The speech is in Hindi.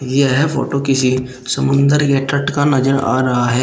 यह फोटो किसी समुद्र के तट का नजर आ रहा है।